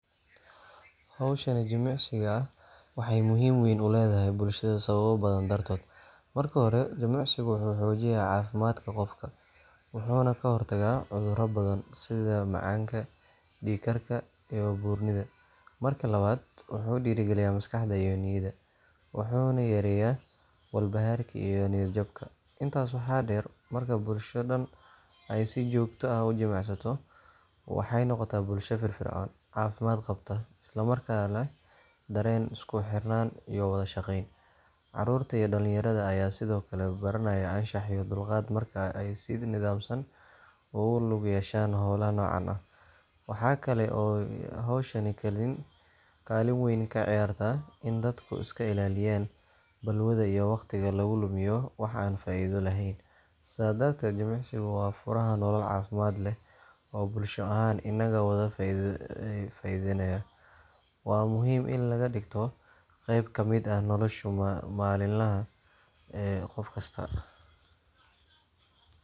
Xowshaan jimicsiga ah, waxay muxiim wen uledaxay bulshada sawabo badan dartodh, marka xore jimicsaga wuxu xojina cafimadka gofka, wuxun kaxortaga cuduran badan, sidha macanka, diigkarka, iyo burnida, marki lawad wuxu diragaliya maskaxda iyo niyada, wuxuna yareya walbaxarka iyo niya jabka, intas wax deer, marka bulsha daan ay si jogta ah ujimicsato, waxay nogota bulsha fifircon, cafimad qabta, islamarkana wadashageyn, carurta iyo dalin yarada aya sidhokale baranayan anshax iyo dulgad marka ay si nidamsan o gu lug yeshan xowlaha nocan ah, waxa kale oo xowshaan kalin wen kaciyarta in dadka iskailaliyan balwada iyo wagtiga lagulumiyo wax aan faida lexen, saa dartet jimicsigu wa furaha nolol cafimad leh, oo bulshada ahan inago faidanayo, wa muxiim in lagadigto keqb kamid ah noloshu malin laha ee gofkasta.